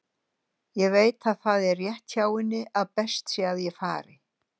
Ég veit að það er rétt hjá henni að best sé að ég fari.